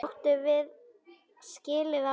Áttum við skilið að vinna?